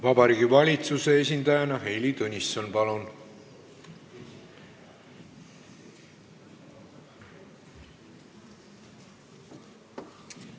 Vabariigi Valitsuse esindajana Heili Tõnisson, palun!